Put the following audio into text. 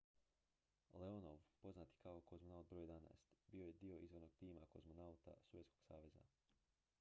"leonov poznat i kao "kozmonaut br. 11" bio je dio izvornog tima kozmonauta sovjetskog saveza.